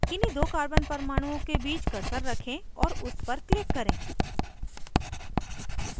किन्हीं दो carbon परमाणुओं के बीच cursor रखें और उस पर click करें